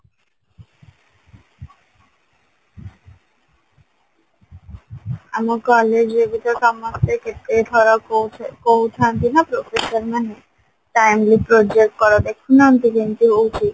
ଆମ college ରେ ବି ତ ସମସ୍ତେ କେତେ ଥର କହୁ କହୁଥାନ୍ତି ନା professor ମାନେ timely project କର ଦେଖୁନାହାନ୍ତି କେମତି ହଉଛି